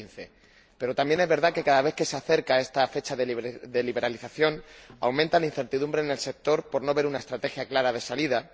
2015. Pero también es verdad que, cada vez que se acerca esta fecha de liberalización, aumenta la incertidumbre en el sector por no ver una estrategia clara de salida